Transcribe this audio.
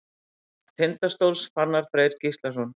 Mark Tindastóls: Fannar Freyr Gíslason.